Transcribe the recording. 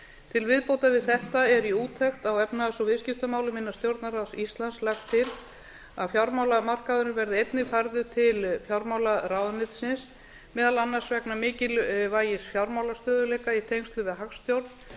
til viðbótar við þetta er í úttekt á efnahags og viðskiptamálum innan stjórnarráðs íslands lagt að fjármálamarkaðurinn verði einnig færður til fjármálaráðuneytisins meðal annars vegna mikilvægis fjármálastöðugleika í tengslum við hagstjórn